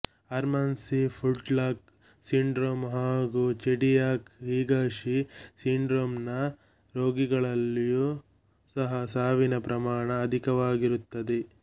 Hermansky Pudlak syndrome ಹಾಗು Chediak Higashi syndrome ನ ರೋಗಿಗಳಲ್ಲಿಯೂ ಸಹ ಸಾವಿನ ಪ್ರಮಾಣ ಅಧಿಕವಾಗಿರುತ್ತದೆ